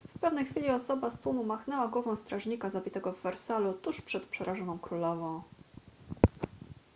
w pewnej chwili osoba z tłumu machnęła głową strażnika zabitego w wersalu tuż przed przerażoną królową